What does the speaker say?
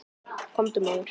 Komdu, maður.